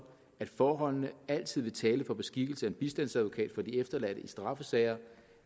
at forholdene altid vil tale for beskikkelse af en bistandsadvokat for de efterladte i straffesager